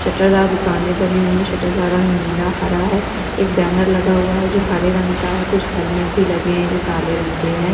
छोटा का दुकान बनी हुई है छोटा का रंग नीला हरा है एक बैनर लगा हुआ है जो हरे रंग का है कुछ हेलमेट भी लगे जो काले रंग के है।